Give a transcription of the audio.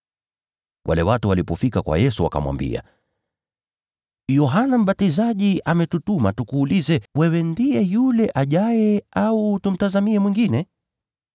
Wale watu walipofika kwa Yesu wakamwambia, “Yohana Mbatizaji ametutuma tukuulize, ‘Wewe ndiye yule aliyekuwa aje, au tumngojee mwingine?’ ”